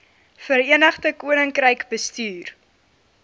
verenigde koninkryk bestuur